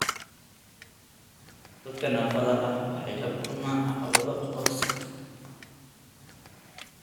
Dadka naafada ah waxay la kulmaan caqabado aqoonsi.